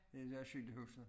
Det der cykelhuset